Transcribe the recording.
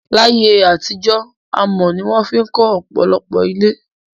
Láyé àtijó, amò ni won fi kó òpòlopò ilé